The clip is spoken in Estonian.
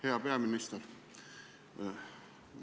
Hea peaminister!